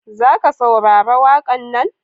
Za saurari waƙan na?